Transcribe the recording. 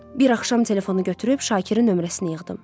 Bir axşam telefonu götürüb Şakirin nömrəsini yığdım.